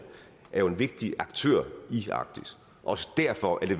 er jo en vigtig aktør i arktis og derfor er det